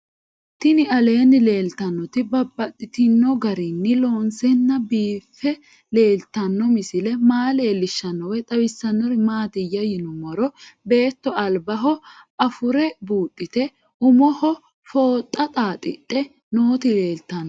Tinni aleenni leelittannotti babaxxittinno garinni loonseenna biiffe leelittanno misile maa leelishshanno woy xawisannori maattiya yinummoro beetto alibbaho afure buudhatte umoho fooxxa xaaxidhe nootti leelittanno